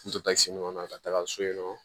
N tora sen ɲɔgɔn na ka taga so ye nɔ